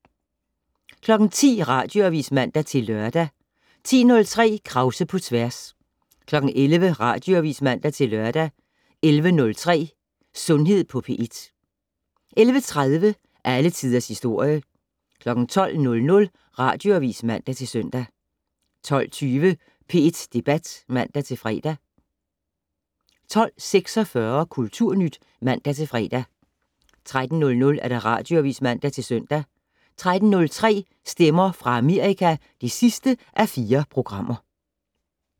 10:00: Radioavis (man-lør) 10:03: Krause på tværs 11:00: Radioavis (man-lør) 11:03: Sundhed på P1 11:30: Alle Tiders Historie 12:00: Radioavis (man-søn) 12:20: P1 Debat (man-fre) 12:46: Kulturnyt (man-fre) 13:00: Radioavis (man-søn) 13:03: Stemmer fra Amerika (4:4)